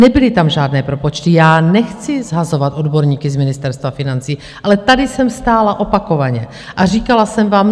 Nebyly tam žádné propočty - já nechci shazovat odborníky z Ministerstva financí, ale tady jsem stála opakovaně a říkala jsem vám: